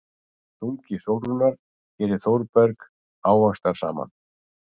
Þungi Sólrúnar gerir Þórberg ávaxtarsaman.